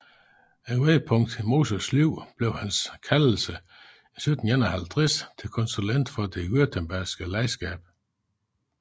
Et vendepunkt i Mosers liv blev hans kaldelse 1751 til konsulent for det württembergske landskab